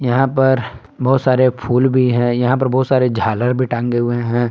यहां पर बहुत सारे फूल भी हैं यहां पर बहुत सारे झालर भी हैं।